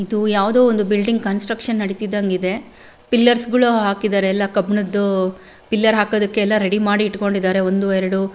ಇದು ಯಾವುದೊ ಒಂದು ಬಿಲ್ಡಿಂಗ್ ಕನ್ಸ್ಟ್ರಕ್ಷನ್ ನಡಿತಿದ್ದಂಗೆ ಇದೆ ಪಿಲ್ಲ್ಲೆರ್ಸ್ಗಳು ಹಾಕಿದ್ದಾರೆ ಎಲ್ಲ ಕಬ್ಬಿಣದ್ದು ಪಿಲ್ಲೆರ್ ಹಾಕೋದಕ್ಕೆ ಎಲ್ಲ ರೆಡಿ ಮಾಡಿ ಇಡ್ಕೊಂಡಿದ್ದಾರೆ ಎಲ್ಲ ಒಂದು ಎರಡು--